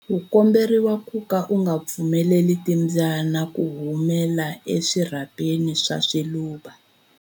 U komberiwa ku ka u nga pfumeleli timbyana ku humela eswirhapeni swa swiluva.